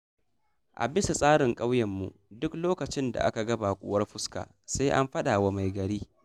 A bisa tsarin ƙauyenmu, duk lokacin da aka ga baƙuwar fuska, sai an faɗa wa mai gari.